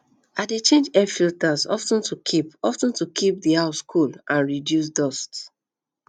i dey change air filters of ten to keep of ten to keep the house cool and reduce dust